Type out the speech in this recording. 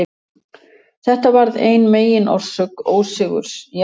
Þetta varð ein meginorsök ósigurs Aþenu.